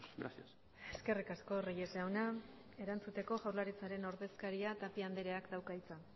gracias eskerrik asko reyes jauna erantzuteko jaurlaritzaren ordezkaria tapia andreak dauka hitza